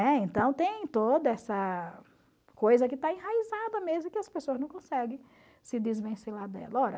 Né? Então tem toda essa coisa que está enraizada mesmo e que as pessoas não conseguem se desvencilhar dela.